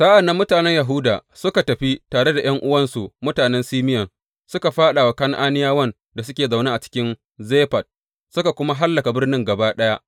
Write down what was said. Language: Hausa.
Sa’an nan mutanen Yahuda suka tafi tare da ’yan’uwansu mutanen Simeyon suka fāɗa wa Kan’aniyawan da suke zaune cikin Zefat, suka kuwa hallaka birnin gaba ɗaya.